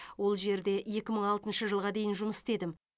ол жерде екі мың алтыншы жылға дейін жұмыс істедім